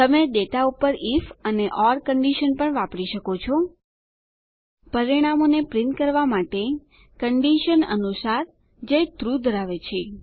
તમે ડેટા પર આઇએફ અને ઓર કંડીશન પણ વાપરી શકો છો પરિણામોને પ્રિંટ કરવા માટે કંડીશન અનુસાર જે ટ્રૂ ધરાવે છે